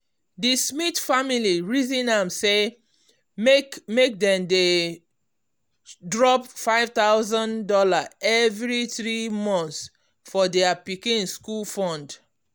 di smith family reason am say make make dem dey drop five thousand dollars every three months for their pikin school fund.